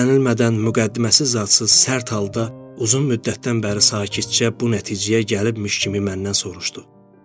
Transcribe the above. Gözlənilmədən müqəddiməsiz-zadsız, sərt halda, uzun müddətdən bəri sakitcə bu nəticəyə gəlmiş kimi məndən soruşdu: